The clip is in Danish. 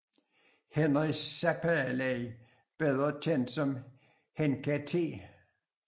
Henri Seppälä bedre kendt som Henkka T